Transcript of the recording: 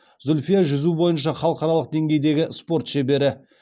зүльфия жүзу бойынша халықаралық деңгейдегі спорт шебері